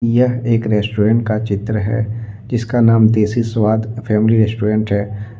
यह एक रेस्टोरेंट का चित्र है जिसका नाम देसी स्वाद फैमिली रेस्टोरेंट है।